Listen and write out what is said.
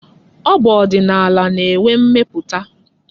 Abụ ọdịnala na-enwe mmeputa.